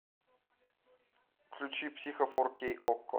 включи психо фор кей окко